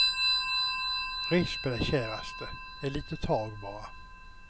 Res på dig käraste, ett litet tag bara.